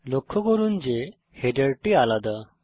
লক্ষ্য করুন যে হেডারটি আলাদা